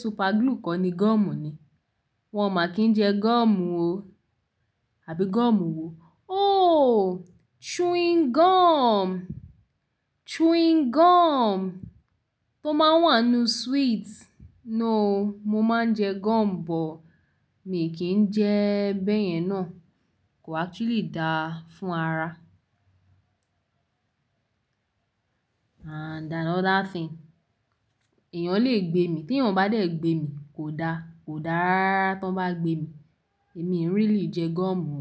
super glue kọ ni gum ni? Wọn ò ma kí jẹ gum o, àbí gum wo? Oh, chewing gum, chewing gum tó máa ń wà nínú sweet. No, mo máa ń jẹ gum bọ̀, mi kì í jẹ ẹ bẹ̀yẹn náà. Kò actually dáa fún ara. Ah, that's another thing. Ẹ̀yàn le gbé mi, tí ẹ̀yàn bá dẹ̀ gbé mi, kò dá, kò dára tán bá gbé mi. Èmi really jẹ gum o.